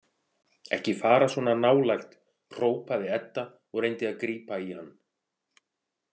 Ekki fara svona nálægt, hrópaði Edda og reyndi að grípa í hann.